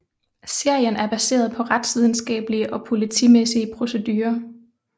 Serien er baseret på retsvidenskablige og politimæssige procedurer